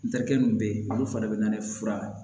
N terikɛ min bɛ yen olu fari bɛ na ne fura